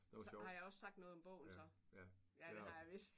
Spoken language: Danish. Så har jeg også sagt noget om bogen så. Ja det har jeg vist